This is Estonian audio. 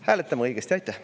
Hääletame õigesti!